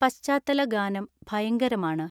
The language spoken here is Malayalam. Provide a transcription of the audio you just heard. പശ്ചാത്തല ഗാനം ഭയങ്കരമാണ്